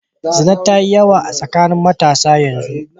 Zina ta yi yawa tsakanin matasa a yanzu.